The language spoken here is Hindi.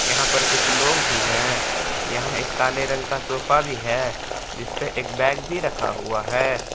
यहां पर कुछ लोग भी है यहां एक काले रंग का सोफा भी है जिसपे एक बैग भी रखा हुआ है।